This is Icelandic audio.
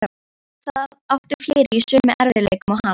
Jú, það áttu fleiri í sömu erfiðleikum og hann.